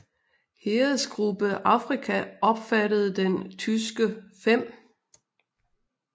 Heeresgruppe Afrika omfattede den tyske 5